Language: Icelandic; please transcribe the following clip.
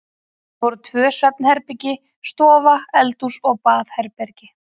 Það voru tvö svefnherbergi, stofa, eldhús og baðherbergi.